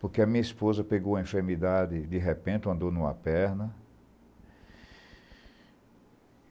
Porque a minha esposa pegou uma enfermidade, de repente, andou numa perna.